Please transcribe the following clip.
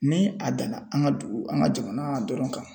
Ni a danna an ka dugu an ka jamana dɔrɔn kan